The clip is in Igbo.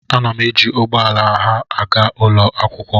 A na m eji ugbo ala oha agaa ụlọ akwụkwọ